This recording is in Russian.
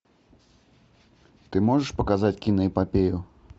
ты можешь показать киноэпопею